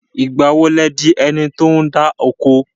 Ìgbà wo lẹ di ẹni tí ó ń dá oko?